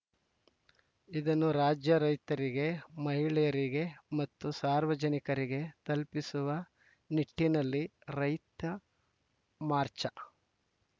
ಇದನ್ನು ರಾಜ್ಯ ರೈತರಿಗೆ ಮಹಿಳೆಯರಿಗೆ ಮತ್ತು ಸಾರ್ವಜನಿಕರಿಗೆ ತಲುಪಿಸುವ ನಿಟ್ಟಿನಲ್ಲಿ ರೈತ ಮಾರ್ಚಾ